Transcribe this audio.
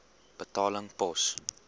betaling pos